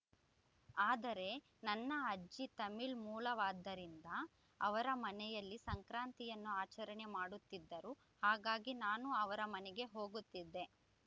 ಆದರೆ ನನ್ನ ಅಜ್ಜಿ ತಮಿಳ್ ಮೂಲವಾದ್ದರಿಂದ ಅವರ ಮನೆಯಲ್ಲಿ ಸಂಕ್ರಾಂತಿಯನ್ನು ಆಚರಣೆ ಮಾಡುತ್ತಿದ್ದರು ಹಾಗಾಗಿ ನಾನು ಅವರ ಮನೆಗೆ ಹೋಗುತ್ತಿದ್ದೆ